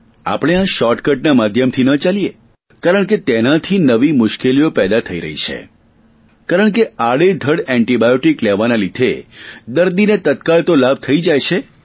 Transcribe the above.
આપણે આ શોર્ટકટના માધ્યમથી ન ચાલીએ કારણકે તેનાથી નવી મુશ્કેલીઓ પેદા થઈ રહી છે કારણકે આડેધડ એન્ટિબાયોટિક લેવાના લીધે દર્દીને તત્કાળ તો લાભ થઇ જાય છે